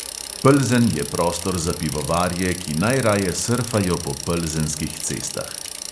Plzen je prostor za pivovarje, ki najraje srfajo po plzenskih cestah.